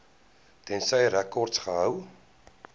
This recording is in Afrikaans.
tensy rekords gehou